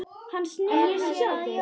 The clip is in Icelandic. Hann sneri sér að Jóni.